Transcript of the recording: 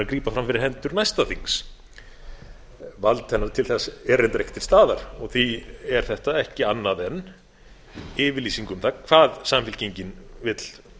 grípa fram fyrir hendur næsta þings vald hennar til þess er reyndar ekki til staðar og því er þetta ekki annað en yfirlýsing um það hvað samfylkingin vill